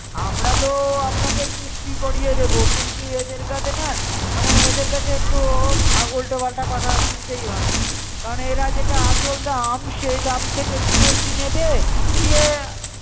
আমরা তো আপনাকে কিস্তি করিয়ে দেব কিন্তু এদের কাছে না মানে এদের কাছে একটু উলটোপালটা কথা শুনতেই হয় কারন এরা যেটা আসল দাম সেই দাম থাকে একটু বেশী নেবে দিয়ে